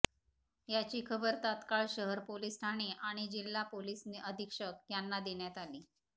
याची खबर तत्काळ शहर पोलिस ठाणे आणि जिल्हा पोलिस अधीक्षक यांना देण्यात आली